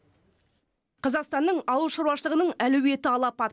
қазақстанның ауыл шаруашылығының әлеуеті алапат